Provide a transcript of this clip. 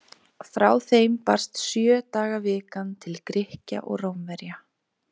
Frá þeim barst sjö daga vikan til Grikkja og Rómverja.